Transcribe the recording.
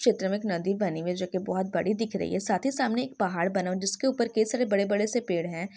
चित्र मे एक नदी बनी हुई जोकि बहोत बड़ी दिख रही है साथी सामने एक पहाड़ बना हुआ जिसके उपर के बड़े बड़े पेड है।